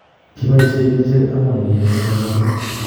Kipoishe kerchek ang'wan kenyai kaparunet